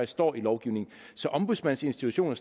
står i lovgivningen så ombudsmandsinstitutionen